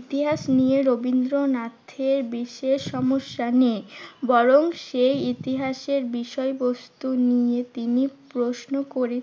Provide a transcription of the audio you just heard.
ইতিহাস নিয়ে রবীন্দ্রনাথের বিশেষ সমস্যা নেই। বরং সে ইতিহাসের বিষয়বস্তু নিয়ে তিনি প্রশ্ন করে~